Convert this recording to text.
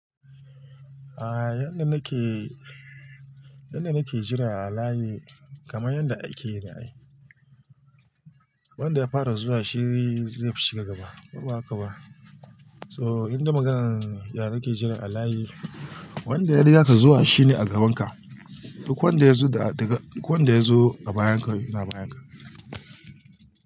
A yanda nake, yanda nake jira a layi kamar yadda ake yine ai. Wanda ya fara zuwa shi zai shiga gaba koba haka ba. So inda maganan ya nake jira a layi wanda ya riga ka zuwa shine a gaban ka. Duk wanda ya zo da-- daga, duk wanda ya zo a bayan ka ina bayan ka.